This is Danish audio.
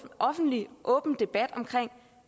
en offentlig åben debat om